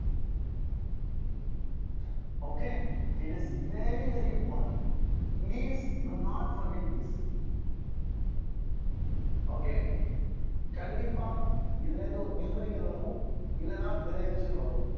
okay it is very very important please do not forget this okay கண்டிப்பா இதுல இருந்து ஒரு numerical வரும் இல்லைன்னா derivation வரும்